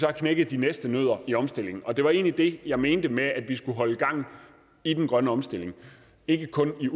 knækket de næste nødder i omstillingen og det var egentlig det jeg mente med at vi skal holde gang i den grønne omstilling ikke kun